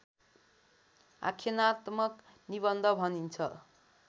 आख्यानात्मक निबन्ध भनिन्छ